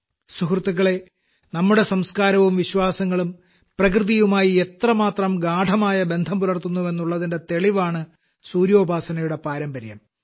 സുഹൃത്തുക്കളെ നമ്മുടെ സംസ്കാരവും വിശ്വാസങ്ങളും പ്രകൃതിയുമായി എത്രമാത്രം ഗാഢമായ ബന്ധം പുലർത്തുന്നുവെന്നുള്ളതിന്റെ തെളിവാണ് സൂര്യോപാസനയുടെ പാരമ്പര്യം